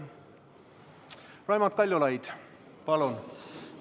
Raimond Kaljulaid, palun!